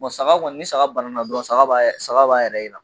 saga kɔni ni saga banana dɔrɔn saga ba yɛrɛ jira